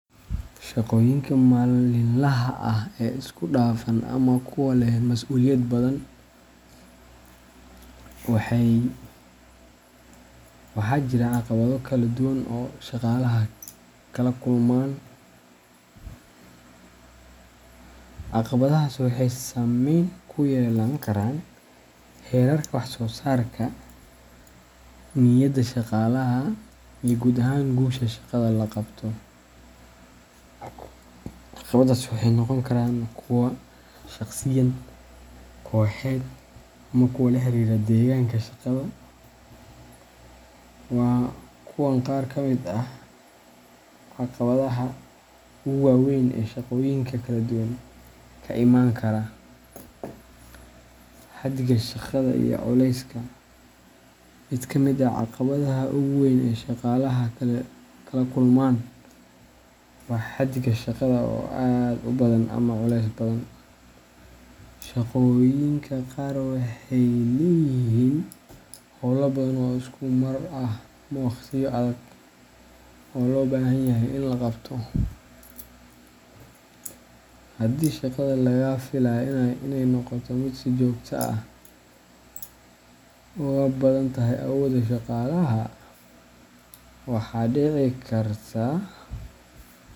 Shaqooyinka maalinlaha ah ee isku dhafan ama kuwa leh mas'uuliyad badan, waxaa jira caqabado kala duwan oo shaqaalaha kala kulmaan. Caqabadahaas waxay saameyn ku yeelan karaan heerarka wax soo saarka, niyadda shaqaalaha, iyo guud ahaan guusha shaqada la qabto. Caqabadahaas waxay noqon karaan kuwo shaqsiyan, kooxeed, ama kuwo la xiriira deegaanka shaqada. Waa kuwan qaar ka mid ah caqabadaha ugu waaweyn ee shaqooyinka kala duwan ka iman kara:Xaddiga Shaqada iyo Culeyska: Mid ka mid ah caqabadaha ugu weyn ee shaqaalaha kala kulmaan waa xaddiga shaqada oo aad u badan ama culeys badan. Shaqooyinka qaar waxay leeyihiin hawlo badan oo isku mar ah ama waqtiyo adag oo loo baahan yahay in la qabto. Haddii shaqada laga filayo inay noqoto mid si joogto ah uga badan tahay awooda shaqaalaha, waxaa dhici karta.